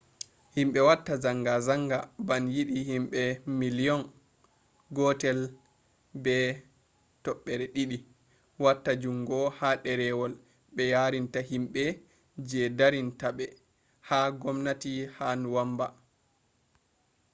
himbe watta zangazanga ban yidi himbe miliyon 1.2 wata jungo ha derewol be yarinta himbe je darinta be ha gwamnati ha nuwanba